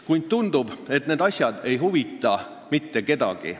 Kuid tundub, et need asjad ei huvita mitte kedagi.